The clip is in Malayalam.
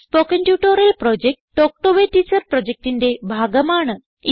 spoken tutorial project talk to a teacher പ്രൊജക്റ്റിന്റെ ഭാഗമാണ്